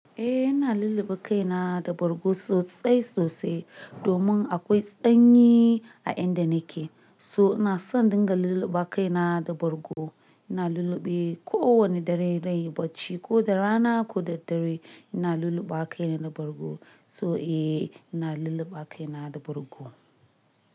Eh ina lulluɓe kaina da bargo sosai sosai domin akwai tsanyi a inda nake. So ina son dinga lulluɓa kaina da bargo. Ina lulluɓe kowane dare dai bacci ko da rana ko da dare ina lulluɓa kaina da bargo. So eh ina lulluɓa kaina da bargo.